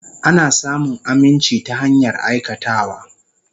Ana samun aminci ta hanyar aikatawa.